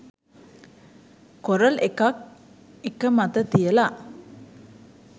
coral එකක් එක මත තියල